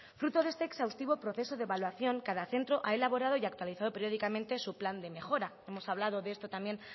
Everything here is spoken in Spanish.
fruto de este exhaustivo proceso de evaluación cada centro ha elaborado y actualizados periódicamente su plan de mejora hemos hablado de esto también